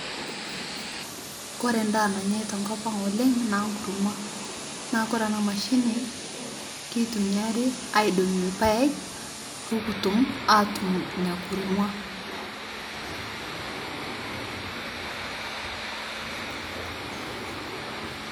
Oore en'daa nanyae tenkop ang oleng naa enkurma. Naa oore eena mashini keitumiari aidong'ie irpaek, pee kitum aatum iina kurma.